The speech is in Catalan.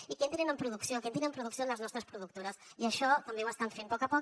i que entrin en producció que entrin en producció en les nostres productores i això també ho estan fent a poc a poc